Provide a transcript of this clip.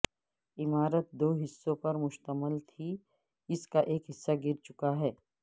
عمارت دو حصوں پر مشتمل تھی اس کا ایک حصہ گر چکا ہے